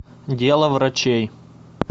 дело врачей